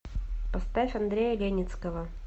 поставь андрея леницкого